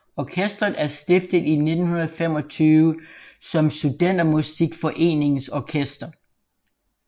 Orkestret er stiftet i 1925 som Studentermusikforeningens Orkester